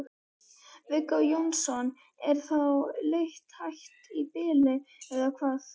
Viggó Jónsson: Er þá leit hætt í bili eða hvað?